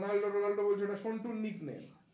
Ronaldo Ronaldo বলছো ওটা সন্টুর nickname